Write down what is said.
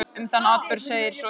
Um þann atburð segir svo í